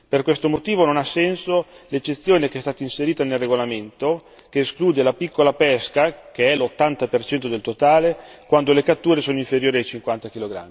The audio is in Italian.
Per questo motivo non ha senso l'eccezione che è stata inserita nel regolamento, che esclude la piccola pesca, che è l'80 per cento del totale quando le catture sono inferiori ai 50 kg.